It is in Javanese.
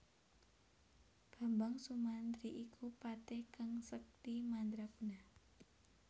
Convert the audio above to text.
Bambang Sumantri iku patih kang sekti mandra guna